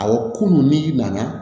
Awɔ kunun n'i nana